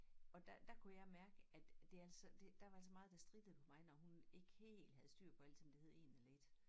Og der dér kunne jeg mærke at det altså det der var altså meget der strittede på mig når hun ikke helt havde styr på altid om det hed en eller et